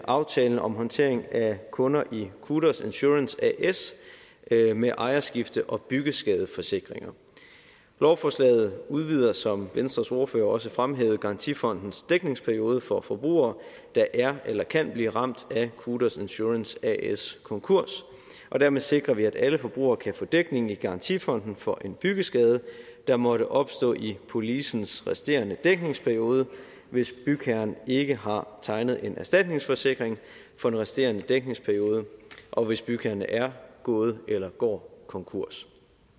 aftalen om håndtering af kunder i qudos insurance as med ejerskifte og byggeskadeforsikringer lovforslaget udvider som venstres ordfører også fremhævede garantifondens dækningsperiode for forbrugere der er eller kan blive ramt af qudos insurance as konkurs og dermed sikrer vi at alle forbrugere kan få dækning i garantifonden for en byggeskade der måtte opstå i policens resterende dækningsperiode hvis bygherren ikke har tegnet en erstatningsforsikring for den resterende dækningsperiode og hvis bygherren er gået eller går konkurs